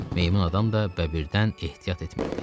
Meymun adam da bəbirdən ehtiyat etmirdi.